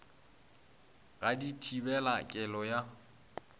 ga di thibele kelo ya